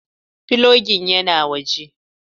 Filogin yana waje.